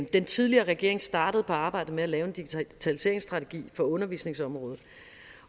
den tidligere regering startede på arbejdet med at lave en digitaliseringsstrategi for undervisningsområdet